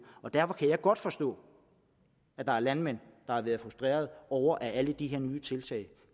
derfor kan jeg godt forstå at der er landmænd der har været frustreret over at alle de her nye tiltag